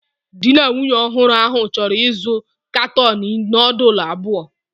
Di na nwunye ọhụrụ ahụ chọrọ ịzụ katọn nudulu abụọ